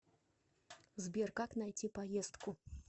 сбер как найти поездку